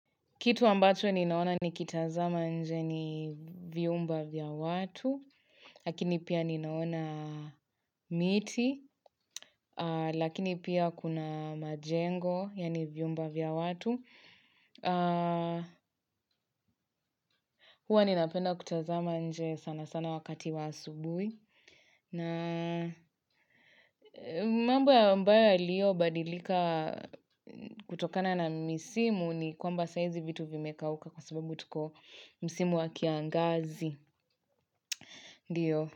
Kitu ambacho ninaona nikitazama nje ni viumba vya watu, lakini pia ninaona miti, lakini pia kuna majengo, yani viumba vya watu. Huwa ninapenda kutazama nje sana sana wakati wa asubui. Mambo ya ambayo ya liyo badilika kutokana na misimu ni kwamba saizi vitu vimeka uka kwa sababu tuko misimu wa kiangazi. Dio.